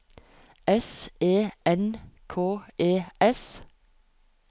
S E N K E S